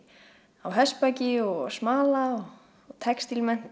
á hestbaki og við að smala og textílmennt